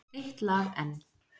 Eitt lag enn